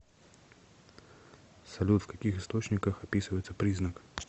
салют в каких источниках описывается признак